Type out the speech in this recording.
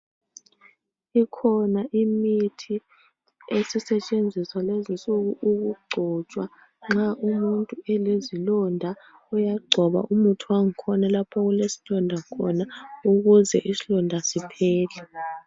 Ikhona imithi esisetshenziswa lezinsuku ukugcotshwa .Nxa umuntu elezilonda uyagcoba umuthi wangikhona lapho kule slonda khona ukuze islonda siphele .